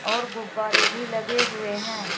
और गुब्बारे भी लगे हुए हैं।